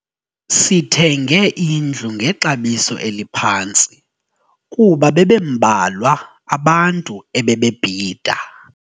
Sithenge indlu ngexabiso eliphantsi kuba bebembalwa abantu ebebebhida.